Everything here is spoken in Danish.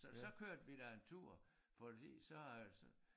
Så så kørte vi da en tur fordi så øh